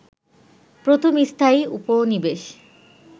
প্রথম স্থায়ী উপনিবেশ